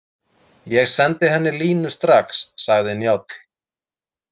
Ég sendi henni línu strax, sagði Njáll.